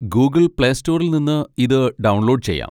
Google play സ്റ്റോറിൽ നിന്ന് ഇത് ഡൗൺലോഡ് ചെയ്യാം.